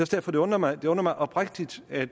derfor det undrer mig og undrer mig oprigtigt at